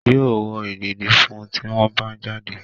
Yóò wọ ìdèdí fún un tí wọ́n bá ń jáde.